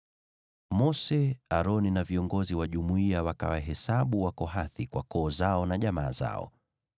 Mose, Aroni na viongozi wa jumuiya wakawahesabu Wakohathi kwa koo zao na jamaa zao.